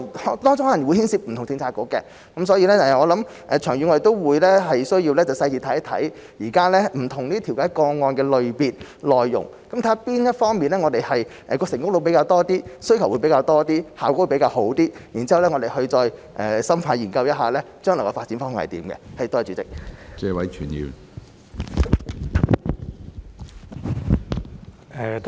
當中可能會牽涉不同政策局，所以長遠而言，我們需要仔細看看現在不同調解個案的類別、內容，看看哪方面的成功率比較高、需求比較多、效果比較好，然後再深入研究一下將來的發展方向。